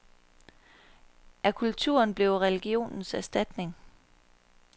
Er kulturen blevet religionens erstatning.